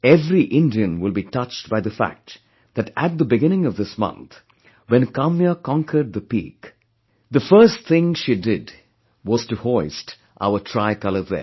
Every Indian will be touched by the fact that at the beginning of this month, when Kamya conquered the peak, the first thing she did was to hoist our tricolour there